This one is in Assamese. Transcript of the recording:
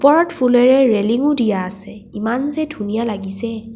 ওপৰত ফুলেৰে ৰেলিংও দিয়া আছে ইমান যে ধুনীয়া লগিছে।